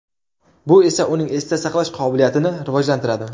Bu esa uning esda saqlash qobiliyatini rivojlantiradi.